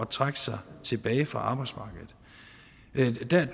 trække sig tilbage fra arbejdsmarkedet